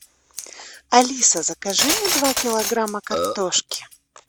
алиса закажи мне два килограмма картошки